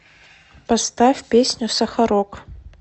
поставь песню сахарок